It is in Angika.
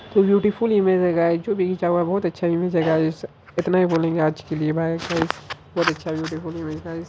ब्यूटीफुल इमेज है गायज जो भी खिचा हुआ है बहुत अच्छा इमेज है गायज इतना ही बोलेंगे आज के लिए बाय गायज बहुत अच्छा ब्यूटीफुल इमेज गायज ।